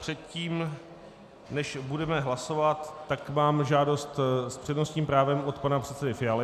Předtím, než budeme hlasovat, tak mám žádost s přednostním právem od pana předsedy Fialy.